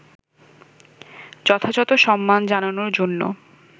যথাযথ সম্মান জানানোর জন্য